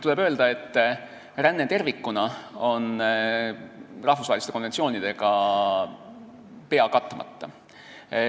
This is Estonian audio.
Tuleb öelda, et ränne tervikuna on rahvusvaheliste konventsioonidega pea katmata.